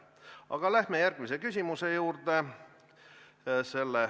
Aga läheme järgmise küsimuse juurde.